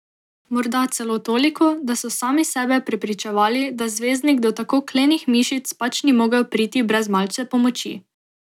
Morda celo toliko, da so sami sebe prepričevali, da zvezdnik do tako klenih mišic pač ni mogel priti brez malce pomoči.